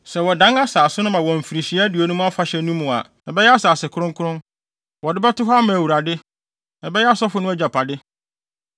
Sɛ wɔdan asase no ma wɔ Mfirihyia Aduonum Afahyɛ no mu a, ɛbɛyɛ asase kronkron. Wɔde bɛto hɔ ama Awurade. Ɛbɛyɛ asɔfo no agyapade.